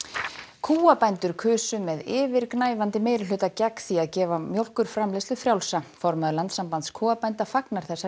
kúabændur kusu með yfirgnæfandi meirihluta gegn því að gefa mjólkurframleiðslu frjálsa formaður Landssambands kúabænda fagnar þessari